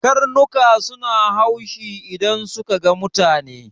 Karnuka suna haushi idan suka ga mutane.